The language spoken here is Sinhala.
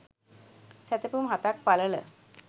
සැතපුම් හතක් පළල